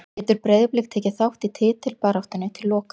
Getur Breiðablik tekið þátt í titilbaráttunni til loka?